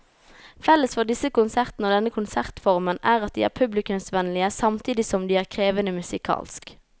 Felles for disse konsertene og denne konsertformen er at de er publikumsvennlige samtidig som de er krevende musikalsk.